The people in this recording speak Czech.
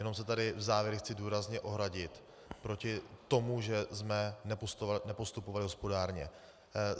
Jenom se tady v závěru chci důrazně ohradit proti tomu, že jsme nepostupovali hospodárně.